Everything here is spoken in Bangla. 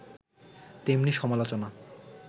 তেমনি সমালোচনা